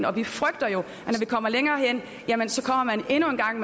og vi frygter når vi kommer længere hen at man endnu en gang